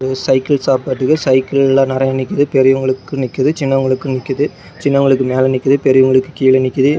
இது cycle shop பாத்துக்க cycle எல்லாம் நறைய நிக்கிது பெரியவங்களுக்கு நிக்கிது சின்னவங்களுக்கும் நிக்கிது சின்னவங்களுக்கு மேல நிக்கிது பெரியவங்களுக்கு கீழ நிக்கிது.